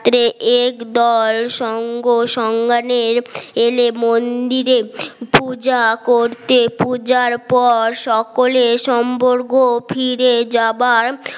একদল সংঘ সংজ্ঞা এর এলে মন্দিরে পূজা করতে পূজার পর সকলে সংবর্গ ফিরে যাবার